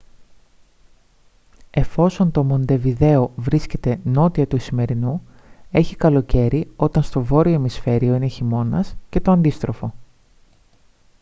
εφόσον το μοντεβιδέο βρίσκεται νότια του ισημερινού έχει καλοκαίρι όταν στο βόρειο ημισφαίριο είναι χειμώνας και το αντίστροφο